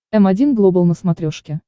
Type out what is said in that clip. м один глобал на смотрешке